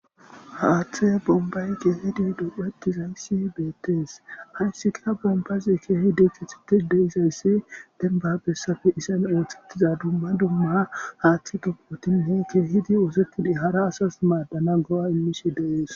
haaththe bombay keehidi dophetizayssi beettees hayssika bombazi keehi di kithitis deizayssi denbabessafe iseme ooththettiza dumma dumma haaththi gigwotinne keehidi oosetidi hara asas maaddana go7a immish deees